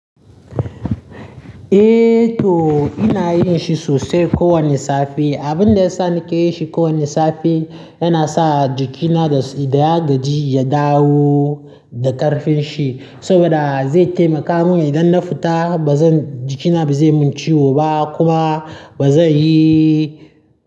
Eh to ina yin shi sosai kowane safe. Abin da yasa nake yin shi kowane safe yana sa jikina idan ya gaji ya dawo da ƙarfin shi saboda zai taimaka min idan na fita ba zan jikina ba zai mun ciwo ba kuma ba zai yi.